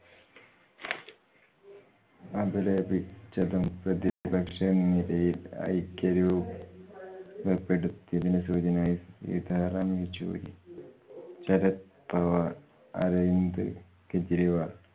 അപലപിച്ചതും പ്രതിപക്ഷ നിരയിൽ ഐക്യ രൂപ പ്പെടുത്തിയത്തിനു സൂചനയായി. സീതാറാം യച്ചൂരി, ശരദ് പവാർ, അരവിന്ദ് കെജ്‍രിവാൾ